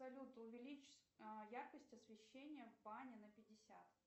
салют увеличь яркость освещения в бане на пятьдесят